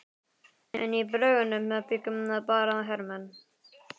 En í bröggunum bjuggu bara hermenn.